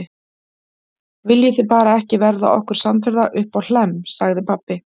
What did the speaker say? Viljið þið bara ekki verða okkur samferða uppá Hlemm, sagði pabbi.